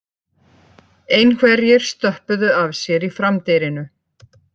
Einhverjir stöppuðu af sér í framdyrinu